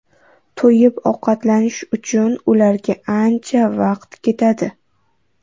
To‘yib ovqatlanish uchun ularga ancha vaqtga ketadi.